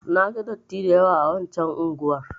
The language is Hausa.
Na ga datti da yawa a waccan unguwar.